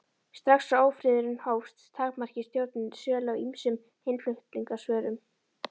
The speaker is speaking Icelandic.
Strax og ófriðurinn hófst, takmarkaði stjórnin sölu á ýmsum innflutningsvörum.